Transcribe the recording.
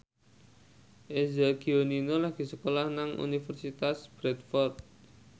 Eza Gionino lagi sekolah nang Universitas Bradford